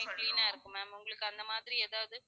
Room clean ஆ இருக்கும் maa'm உங்களுக்கு அந்த மாதிரி எதாது